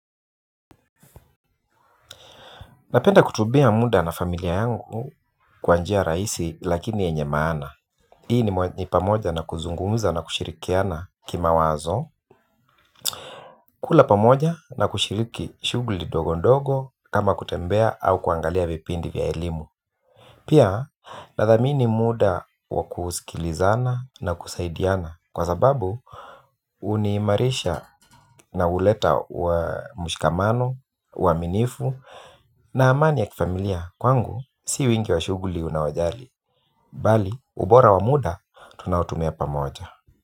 Napenda kutubia muda na familia yangu kwa njia rahisi lakini yenye maana. Hii ni pamoja na kuzungumuza na kushirikiana kimwazo kula pamoja na kishiriki shuguli ndogo ndogo kama kutembea ama kuangalia vipindi vya elimu. Pia nadhami ni muda wa kusikilizana na kusaidiana. Kwa sababu uniimarisha na uleta wa mushikamano, wahaminifu na amani ya kifamilia kwangu si wingi wa shuguli unawajali bali ubora wa muda tunaotumia pamoja.